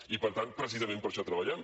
i per tant precisament per això treballem